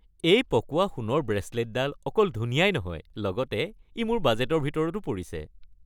এই পকোৱা সোণৰ ব্ৰেচলেটডাল অকল ধুনীয়াই নহয় লগতে ই মোৰ বাজেটৰ ভিতৰতো পৰিছে।